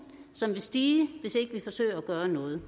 som vil stige hvis ikke vi forsøger at gøre noget